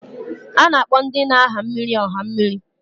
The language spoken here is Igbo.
A na-akpọ ndị na-aha mmịrị ọha mmịrị.